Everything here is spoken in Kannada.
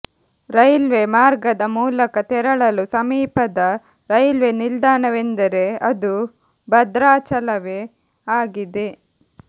ರೈಲ್ವೆ ಮಾರ್ಗದ ಮೂಲಕ ತೆರಳಲು ಸಮೀಪದ ರೈಲ್ವೆ ನಿಲ್ದಾಣವೆಂದರೆ ಅದು ಭದ್ರಾಚಲವೇ ಆಗಿದೆ